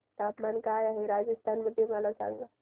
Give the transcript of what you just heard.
तापमान काय आहे राजस्थान मध्ये मला सांगा